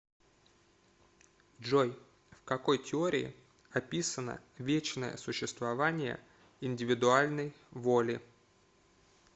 джой в какой теории описано вечное существование индивидуальной воли